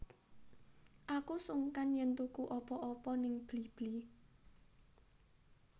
Aku sungkan yen tuku apa opo ning Blibli